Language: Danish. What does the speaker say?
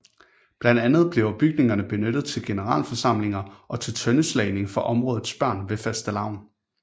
Blandt andet bliver bygningerne benyttet til generalforsamlinger og til tøndeslagning for områdets børn ved Fastelavn